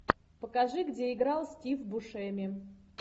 покажи где играл стив бушеми